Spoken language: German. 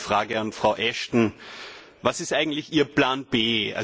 Daher meine Frage an Frau Ashton Was ist eigentlich Ihr Plan B?